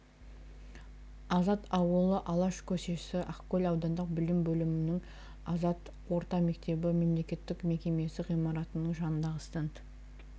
азат ауылы алаш көшесі ақкөл аудандық білім бөлімінің азат орта мектебі мемлекеттік мекемесі ғимаратының жанындағы стенд